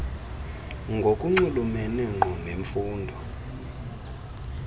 ngokunxulumene ngqo nemfundo